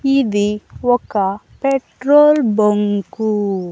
ఇది ఒక petrol bunk .